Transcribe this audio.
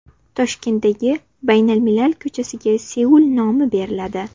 Toshkentdagi Baynalmilal ko‘chasiga Seul nomi beriladi.